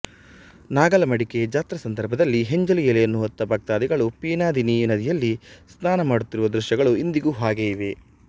ನಾಗಲಮಡಿಕೆ ಜಾತ್ರಾ ಸಂದರ್ಭದಲ್ಲಿ ಹೆಂಜಲು ಎಲೆಯನ್ನು ಹೊತ್ತ ಭಕ್ತಾದಿಗಳು ಪಿನಾದಿನಿ ನದಿಯಲ್ಲಿ ಸ್ನಾನ ಮಾಡುತ್ತಿರುವ ದೃಶ್ಯಗಳು ಇಂದಿಗೂ ಹಾಗೇ ಇವೆ